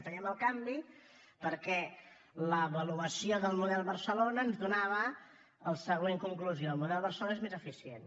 fèiem el canvi perquè l’avaluació del model barcelona ens donava la següent conclusió el model barcelona és més eficient